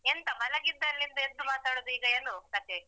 ಎಂತ ಮಲ್ಗಿದ್ದಲ್ಲಿಂದ ಎದ್ದು ಮಾತಾಡುದ ಈಗ ಏನು ಕಥೇ?